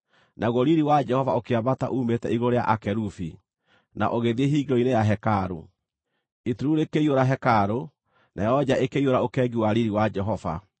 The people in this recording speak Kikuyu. Naguo riiri wa Jehova ũkĩambata uumĩte igũrũ rĩa akerubi, na ũgĩthiĩ hingĩro-inĩ ya hekarũ. Itu rĩu rĩkĩiyũra hekarũ, nayo nja ĩkĩiyũra ũkengi wa riiri wa Jehova.